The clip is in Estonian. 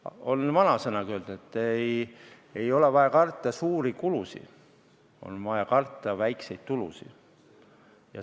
Ütleb vanasõnagi, et ei ole vaja karta suuri kulusid, on vaja karta väikseid tulusid.